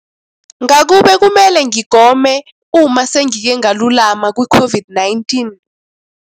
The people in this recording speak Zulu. Ngakube kumele ngigome uma sengike ngalulama kwiCOVID-19 ?